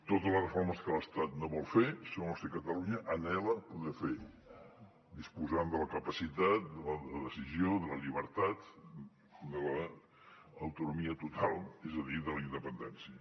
totes les reformes que l’estat no vol fer són les que catalunya anhela poder fer disposant de la capacitat de la decisió de la llibertat de l’autonomia total és a dir de la independència